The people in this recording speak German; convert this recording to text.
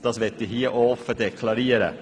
Das möchte ich hier auch offen deklarieren.